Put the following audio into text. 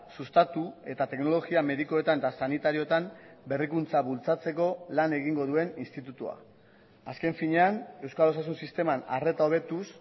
sustatu eta teknologia medikuetan eta sanitarioetan berrikuntza bultzatzeko lan egingo duen institutua azken finean euskal osasun sisteman arreta hobetuz